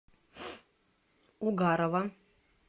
угарова